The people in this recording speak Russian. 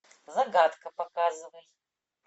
загадка показывай